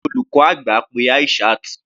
Olùkọ́ àgbà pe Aishat.